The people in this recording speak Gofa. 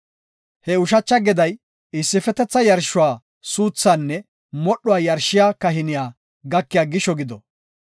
He ushacha geday issifetetha yarshuwa suuthaanne modhuwa yarshiya kahiniya gakiya gisho gido.